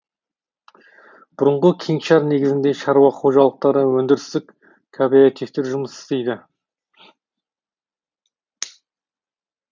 бұрынғы кеңшар негізінде шаруа қожалықтары өндірістік кооперативтер жұмыс істейді